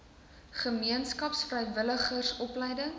gemeenskaps vrywilligers opleiding